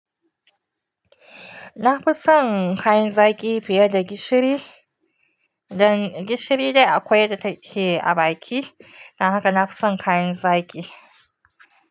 Na fi son kayan zaki fiye da gishiri. Dan gishiri dai akwai da take a baki. Dan haka na fi son kayan zaki.